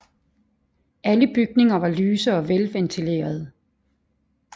Alle bygninger var lyse og velventilerede